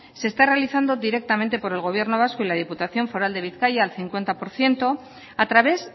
se está realizando directamente por el gobierno vasco y la diputación foral de bizkaia al cincuenta por ciento a través